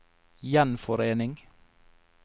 gjenforening